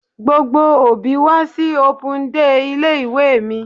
Gbogbo òbí wá sí open day ilé ìwé mi.